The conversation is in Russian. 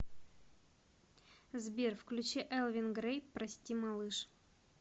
сбер включи элвин грей прости малыш